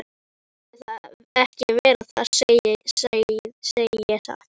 Mér þótti það ekki verra, það segi ég satt.